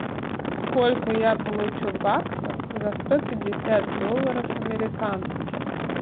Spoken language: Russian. сколько я получу баксов за сто пятьдесят долларов американских